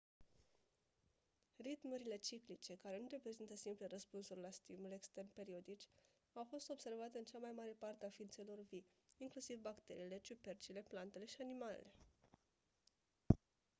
ritmurile ciclice care nu reprezintă simple răspunsuri la stimuli externi periodici au fost observate în cea mai mare parte a ființelor vii inclusiv bacteriile ciupercile plantele și animalele